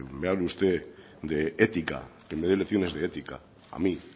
me hable usted de ética que me dé lecciones de ética a mí